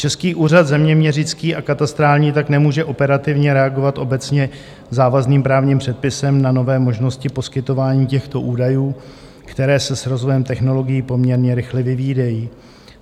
Český úřad zeměměřický a katastrální tak nemůže operativně reagovat obecně závazným právním předpisem na nové možnosti poskytování těchto údajů, které se s rozvojem technologií poměrně rychle vyvíjejí.